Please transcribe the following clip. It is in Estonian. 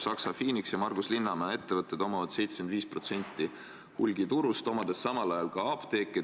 Saksa Phoenix ja Margus Linnamäe ettevõtted omavad hulgiturust 75% ning samal ajal kuuluvad neile ka apteegid.